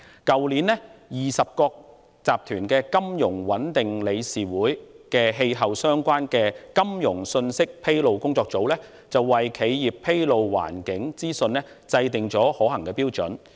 去年 ，20 國集團的金融穩定理事會的氣候相關金融信息披露工作組為企業披露環境資訊制訂了可行標準。